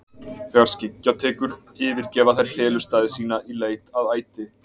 Þegar skyggja tekur yfirgefa þær felustaði sína í leit að æti.